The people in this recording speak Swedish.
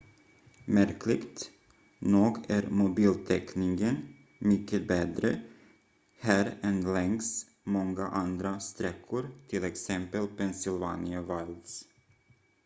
märkligt nog är mobiltäckningen mycket bättre här än längs många andra sträckor t.ex pennsylvania wilds